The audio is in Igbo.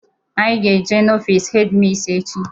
Anyị ga-aga n'ofiisi hedi misi echi.